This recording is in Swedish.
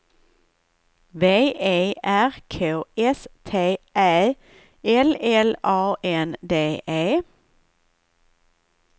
V E R K S T Ä L L A N D E